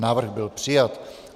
Návrh byl přijat.